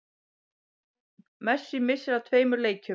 Messi missir af tveimur leikjum